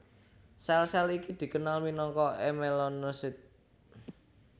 Sèl sèl iki dikenal minangka èmelenosit